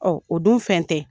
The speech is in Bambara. o dun fɛn tɛ.